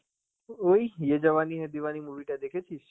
ওই Hindi movie টা দেখেছিস?